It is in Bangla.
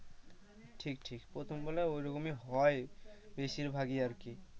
ঠিক ঠিক প্রথমগুলা ঐরকম ই হয় বেশির ভাগই আর কি,